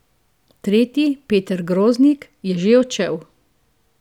Tretji, Peter Groznik, je že odšel.